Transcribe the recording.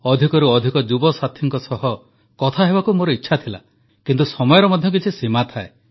ଅଧିକରୁ ଅଧିକ ଯୁବସାଥୀଙ୍କ ସହ କଥା ହେବାକୁ ମୋର ଇଚ୍ଛା ଥିଲା କିନ୍ତୁ ସମୟର ମଧ୍ୟ କିଛି ସୀମା ଥାଏ